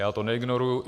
Já to neignoruji.